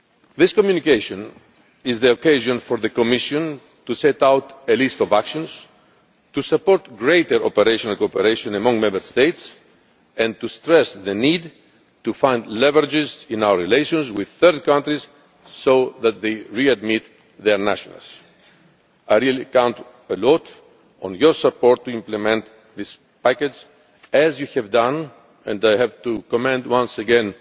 This communication is the occasion for the Commission to set out a list of actions to support greater operational cooperation among Member States and to stress the need to find leverage in our relations with third countries so that they readmit their nationals. I really count a lot on your support to implement this package as you have done, and I have to commend once